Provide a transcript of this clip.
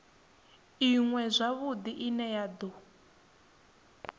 iṅwe zwavhudi ine ya do